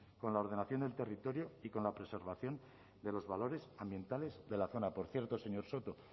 con la ordenación del territorio y con la preservación de los valores ambientales de la zona por cierto señor soto